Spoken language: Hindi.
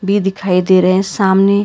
ये दिखाई दे रहे हैं सामने।